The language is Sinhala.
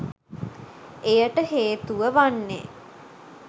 එයට හේතුව වන්නේ